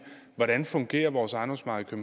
hvordan fungerer vores ejendomsmarked i